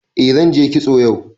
Eh zanje kitso yau